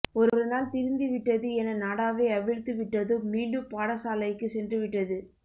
ஒருநாள் திருந்திவிட்டது என நாடாவை அவிழ்த்து விட்டதும் மீண்டும் பாடசாலைக்குச் சென்று விட்டது